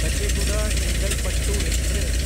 Kacheguda Chengalpattu express